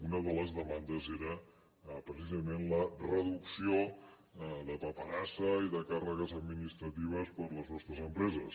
una de les demandes era precisament la reducció de paperassa i de càrregues administratives per a les nostres empreses